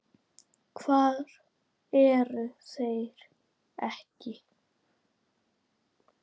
Hvar eru þeir ekki?